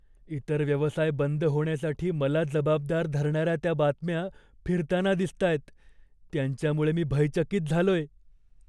इतर व्यवसाय बंद होण्यासाठी मला जबाबदार धरणाऱ्या त्या बातम्या फिरताना दिसतायत, त्यांच्यामुळे मी भयचकित झालोय.